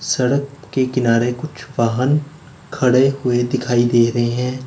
सड़क के किनारे कुछ वाहन खड़े हुए दिखाई दे रहे हैं।